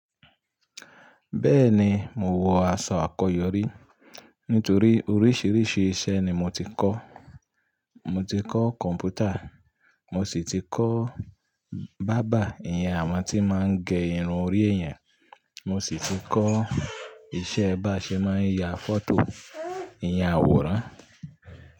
Bẹ́ẹ̀ni, mo wọ aṣọ àkọ́yọrí nítorí oríṣiríṣi iṣẹ́ ni mo ti kọ́. Mo ti kọ́ kọ̀m̀pútà, mo sì ti kọ́ barber ìyẹn àwọn tí mon gé irun orí èèyàn, mo siti kọ́ iṣẹ́ báṣẹ máa ń ya fọ́tò ìyẹn àwòrán.